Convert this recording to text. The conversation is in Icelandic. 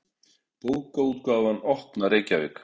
Bókaútgáfan Opna, Reykjavík.